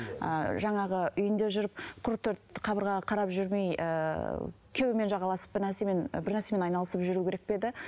ыыы жаңағы үйінде жүріп құр төрт қабырғаға қарап жүрмей ыыы күйеуімен жағаласып бір нәрсемен ы бір нәрсемен айналысып жүру керек пе еді